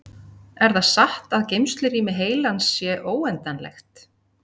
Er það satt að geymslurými heilans sé óendanlegt?